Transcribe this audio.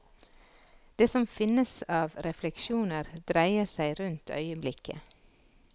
Det som finnes av refleksjoner, dreier seg rundt øyeblikket.